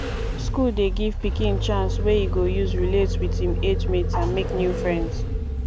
school dey give pikin chance wey e go use relate with im age mates and make new friends